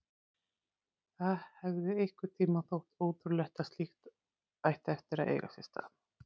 Það hefði einhvern tímann þótt ótrúlegt að slíkt ætti eftir að eiga sér stað.